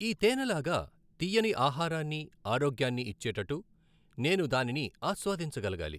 ఈ తేనెలాగా తియ్యని ఆహారాన్ని, ఆరోగ్యాన్ని ఇచ్చేటటు నేను దానిని ఆస్వాదించగలగాలి!